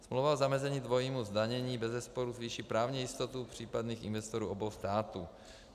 Smlouva o zamezení dvojímu zdanění bezesporu zvýší právní jistotu případných investorů obou států.